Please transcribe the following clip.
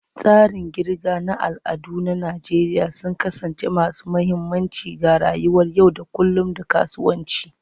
Tsarin kirga na al'ada na Najeriya sun kasance masu mahimmanci ga rayuwar yau da kullun da kasuwanci.